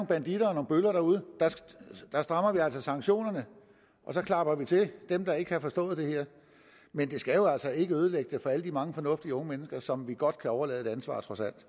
banditter og nogle bøller derude der strammer vi altså sanktionerne og så klapper vi til dem der ikke har forstået det her men det skal jo altså ikke ødelægge det for alle de mange fornuftige unge mennesker som vi godt kan overlade et ansvar